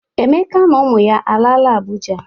Emeka na ụmụ ya alaala Abụja?